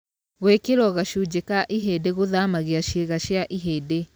Gwĩkĩrwo gacunjĩ ka ihĩndĩ gũthamagia ciĩga cia ihĩndĩ.